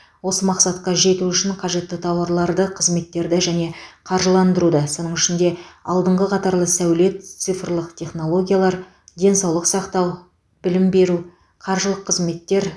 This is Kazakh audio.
осы мақсатқа жету үшін қажетті тауарларды қызметтерді және қаржыландыруды соның ішінде алдыңғы қатарлы сәулет цифрлық технологиялар денсаулық сақтау білім беру қаржылық қызметтер